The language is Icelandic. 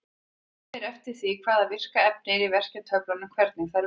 Það fer eftir því hvaða virka efni er í verkjatöflunum hvernig þær vinna.